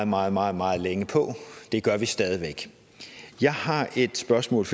meget meget meget længe på og det gør vi stadig væk jeg har et spørgsmål